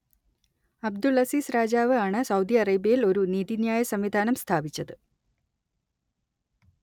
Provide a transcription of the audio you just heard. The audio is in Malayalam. അബ്ദുൾ അസീസ് രാജാവ് ആണ് സൗദി അറേബ്യയിൽ ഒരു നീതിന്യായ സംവിധാനം സ്ഥാപിച്ചത്